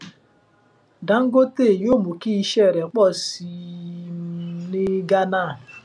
dangote yóò mú kí iṣẹ rẹ pọ sí i um ní gánà